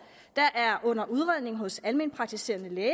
der er under udredning hos alment praktiserende læge